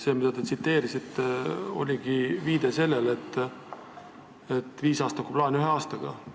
See, mida te tsiteerisite, oligi viide sellele, et viisaastaku plaan ühe aastaga.